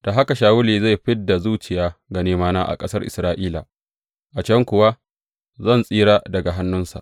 Da haka Shawulu zai fid da zuciya ga nemana a ƙasar Isra’ila, a can kuwa zan tsira daga hannunsa.